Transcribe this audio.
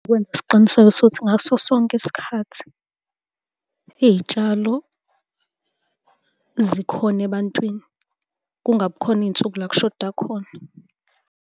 Ukwenza isiqiniseko sokuthi ngaso sonke isikhathi iy'tshalo zikhona ebantwini, kungabi khona iy'nsuku la kushoda khona.